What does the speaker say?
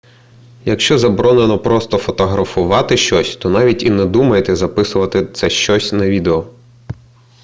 якщо заборонено просто фотографувати щось то навіть і не думайте записувати це щось на відео